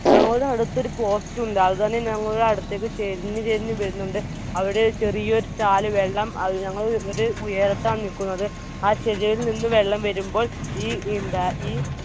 അങ്ങോട്ട് അടുത്തൊരു post ഉണ്ട്. അതുതന്നെ ഞങ്ങളുടെ അടുത്തേക്ക് ചെരിഞ് ചെരിഞ് വരുന്നുണ്ട്. അവിടെ ചെറിയൊരു ചാല് വെള്ളം അത് ഞങ്ങളെ ഉയരത്താണ് നിക്കുന്നത്. ആ ചെരിയയിൽ നിന്ന് വെള്ളം വരുമ്പോൾ ഈ ഈ